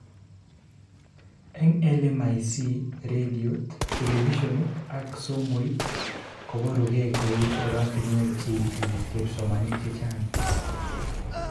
Eng LMIC, redoit, televisionit ak somoit koborukee kou oratinwek cheitini kepsomanink chechang